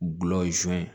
Gulɔ sun